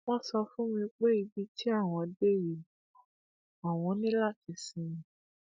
wọn sọ fún mi pé ní ibi tí àwọn dé yìí àwọn ní láti ṣímí